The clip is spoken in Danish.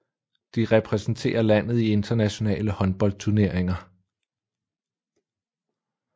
De repræsenterer landet i internationale håndboldturneringer